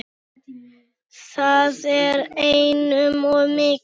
Það er einum of mikið.